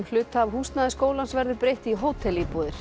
hluta af húsnæði skólans verður breytt í